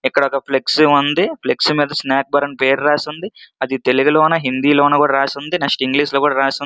ఇక్కడ ఒక ఫ్లెక్స్ ఉంది. ఫ్లెక్స్ మీద స్నాక్ బార్ అన్ని పేరు రాసి ఉంది. అది తెలుగులో హిందీలో కూడా రాసి ఉన్నది నెక్స్ట్ ఇంగ్లీష్ లో కూడా రాసి ఉంది.